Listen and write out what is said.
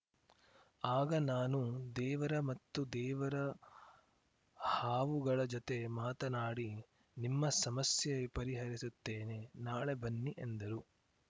ಆಗ ನಾನು ದೇವರ ಮತ್ತು ದೇವರ ಹಾವುಗಳ ಜತೆ ಮಾತನಾಡಿ ನಿಮ್ಮ ಸಮಸ್ಯೆ ಪರಿಹರಿಸುತ್ತೇನೆ ನಾಳೆ ಬನ್ನಿ ಎಂದರು